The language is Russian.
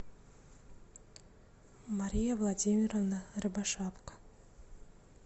мария владимировна рябошапка